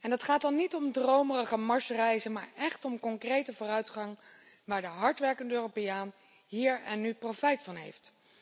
Dat gaat dan niet om dromerige Marsreizen, maar echt om concrete vooruitgang waar de hardwerkende Europeaan hier en nu profijt van heeft.